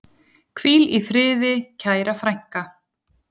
Hvíl í friði, kæra frænka.